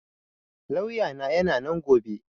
Lauya na yana nan gobe